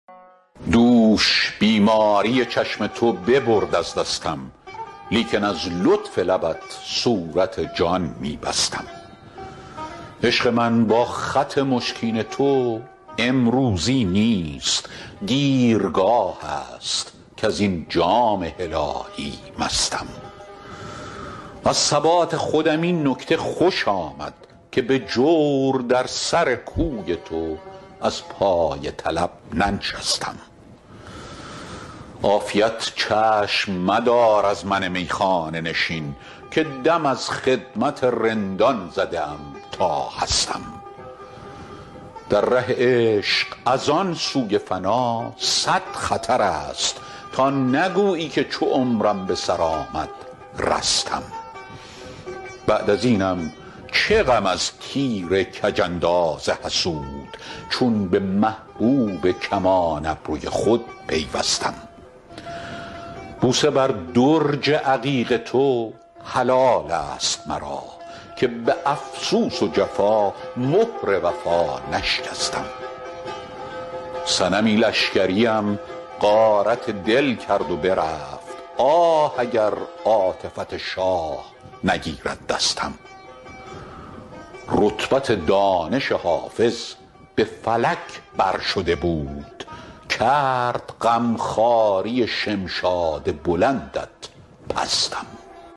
دوش بیماری چشم تو ببرد از دستم لیکن از لطف لبت صورت جان می بستم عشق من با خط مشکین تو امروزی نیست دیرگاه است کز این جام هلالی مستم از ثبات خودم این نکته خوش آمد که به جور در سر کوی تو از پای طلب ننشستم عافیت چشم مدار از من میخانه نشین که دم از خدمت رندان زده ام تا هستم در ره عشق از آن سوی فنا صد خطر است تا نگویی که چو عمرم به سر آمد رستم بعد از اینم چه غم از تیر کج انداز حسود چون به محبوب کمان ابروی خود پیوستم بوسه بر درج عقیق تو حلال است مرا که به افسوس و جفا مهر وفا نشکستم صنمی لشکریم غارت دل کرد و برفت آه اگر عاطفت شاه نگیرد دستم رتبت دانش حافظ به فلک بر شده بود کرد غم خواری شمشاد بلندت پستم